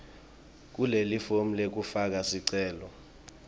kulelifomu lekufaka sicelo